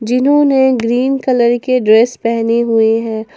इन्होंने green colour के dress पहनी हुई है।